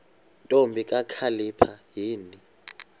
ntombi kakhalipha yini